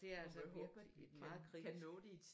Det er altså virkelig et meget kritisk